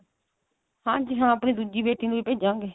ਹਾਂਜੀ ਹਾਂ ਆਪਣੀ ਦੂਜੀ ਬੇਟੀ ਨੂੰ ਵੀ ਭੇਜਾਂਗੇ